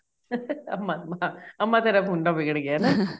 ਅਮਾ ਅਮਾ ਤੇਰਾ ਮੁੰਡਾ ਵਿਗੜ ਗਿਆ ਹਨਾ